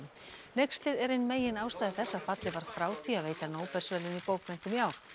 hneykslið er ein meginástæða þess að fallið var frá því að veita Nóbelsverðlaun í bókmenntum ár